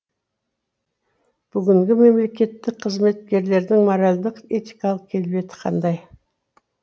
бүгінгі мемлекеттік қызметкерлердің моральдық этикалық келбеті қандай